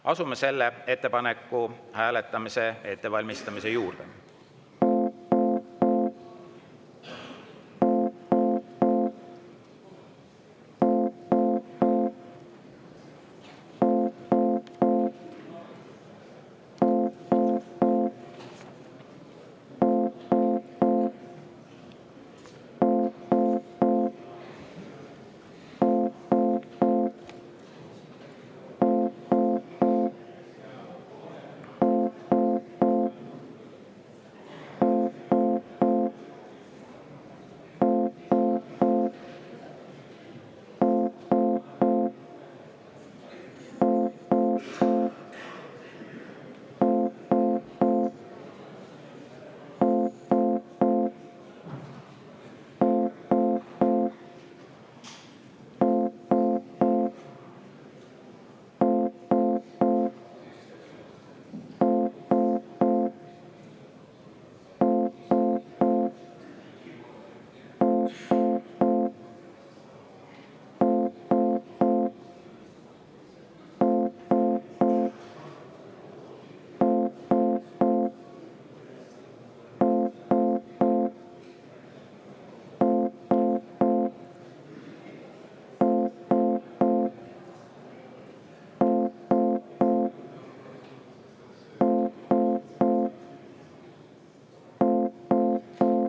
Asume selle ettepaneku hääletamise ettevalmistamise juurde.